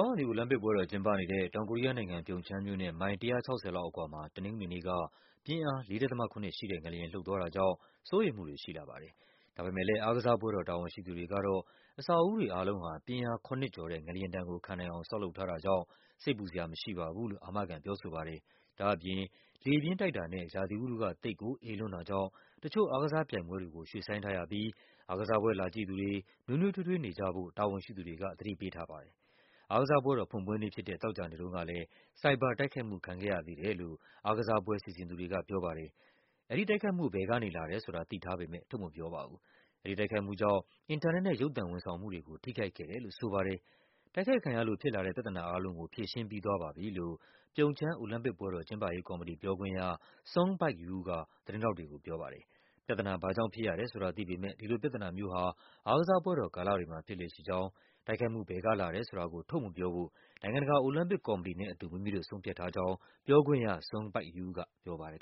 ာင်းရာသီအိုလံပစ်ပွဲတော်ကျင်းပနေတဲ့ တောင်ကိုရီးယားနိုင်ငံ၊ ပြုံချမ်းမြို့နဲ့ မိုင် ၁၆၀ လောက်အကွာမှာ တနင်္ဂနွေနေ့က ပြင်းအား ၄.၇ ရှိတဲ့ငလျင် လှုပ်သွားတာကြောင့် စိုးရိမ်မှုတွေရှိလာပါတယ်။ ဒါပေမယ့်လည်း အားကစားပွဲတော် တာဝန်ရှိသူတွေကတော့ အဆောက်အဦးတွေအားလုံးဟာ ပြင်းအား ၇ ကျော်တဲ့ ငလျင်ဒဏ် ကိုခံနိုင်အောင် ဆောက်လုပ်ထားတာကြောင့် စိတ်ပူစရာမရှိပါဘူးလို့ အာမခံပြောဆိုပါတယ်။ ဒါ့အပြင် လေပြင်းတိုက်တာနဲ့ ရာသီဥတုက သိပ်ကိုအေးလွန်းတာကြောင့် တချို့အားကစားပြိုင်ပွဲတွေကို ရွှေ့ဆိုင်းထားရပြီး အားကစားပွဲလာကြည့်သူတွေ နွေးနွေးထွေးထွေးနေကြဖို့ တာဝန်ရှိသူတွေက သတိပေးထားပါတယ်။ အားကစားပွဲတော်ဖွင့်ပွဲနေ့ဖြစ်တဲ့ သောကြာနေ့တုန်းကလည်း ဆိုင်ဘာတိုက်ခိုက်မှုခံခဲ့ရသေးတယ်လို့ အားကစားပွဲစီစဉ်သူတွေက ပြောပါတယ်။ အဲဒီတိုက်ခိုက်မှု ဘယ်ကနေလာတယ်ဆိုတာ သိထားပေမယ့် ထုတ်မပြောပါဘူး။ အဲဒီတိုက်ခိုက်မှုကြောင့် အင်တာနက်နဲ့ ရုပ်သံဝန်ဆောင်မှုတွေကို ထိခိုက်ခဲ့တယ်လို့ဆိုပါတယ်။ တိုက်ခိုက်ခံရလို့ဖြစ်လာတဲ့ ပြဿနာအားလုံးကို ဖြေရှင်းပြီးသွားပါပြီလို့ ပြုံချမ်း အိုလံပစ်ပွဲတော် ကျင်းပရေးကော်မတီ ပြောခွင့်ရ Sung Baik-you က သတင်းထောက်တွေကိုပြောပါတယ်။ ပြဿနာ ဘာ့ကြောင့်ဖြစ်ရတယ်ဆိုတာ သိပေမယ့် ဒီလိုပြဿနာမျိုးဟာ အားကစားပွဲတော်ကာလတွေမှာ ဖြစ်လေ့ရှိကြောင်း၊ တိုက်ခိုက်မှုဘယ်ကလာတယ်ဆိုတာကို ထုတ်မပြောဖို့ နိုင်ငံတကာ အိုလံပစ်ကော်မတီနဲ့အတူ မိမိတို့ဆုံးဖြတ်ထားကြောင်း ပြောခွင့်ရ Sung Baik-you ကပြောပါတယ်